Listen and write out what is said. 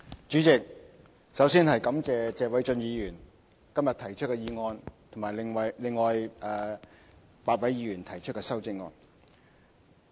主席，首先感謝謝偉俊議員今日提出的議案及另外8位議員提出的修正案。